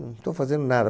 Não estou fazendo nada.